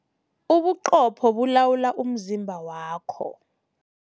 Ubuqopho bulawula umzimba wakho.